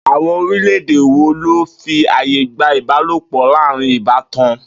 Àwo̩n orílè̩-èdè wo ló fi àyè gba ìbálòpò̩ láàárín ìbátan?